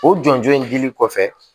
O jɔnjɔn in dili kɔfɛ